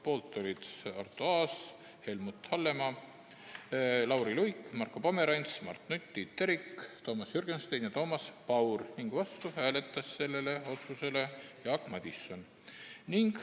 Poolt olid Arto Aas, Helmut Hallemaa, Lauri Luik, Marko Pomerants, Mart Nutt, Tiit Terik, Toomas Jürgenstein ja Toomas Paur ning vastu hääletas sellele otsusele Jaak Madison.